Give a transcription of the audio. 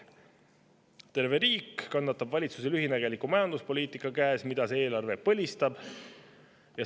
Terve riik kannatab valitsuse lühinägeliku majanduspoliitika käes, mida see eelarve põlistab.